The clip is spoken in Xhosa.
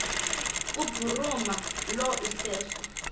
kubhuruma lo iseso